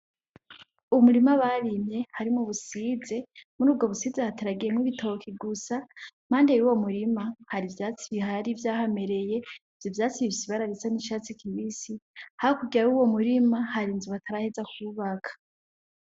Umurima barimye harimwo ubusize. Muri ubwo busize hateragiyemwo ibitoki gusa. Impande y'uwo murima hari ivyatsi bihari vyahamereye, ivyo vyatsi bifise ibara risa n'icatsi kibisi. Hakurya y'uwo murima hari inzu bataraheza kubaka.